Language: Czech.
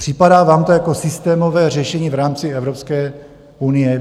Připadá vám to jako systémové řešení v rámci Evropské unie?